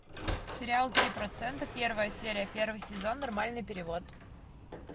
сериал три процента первая серия первый сезон нормальный перевод